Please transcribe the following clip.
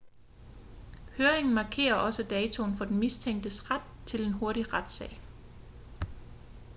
høringen markerer også datoen for den mistænktes ret til en hurtig retssag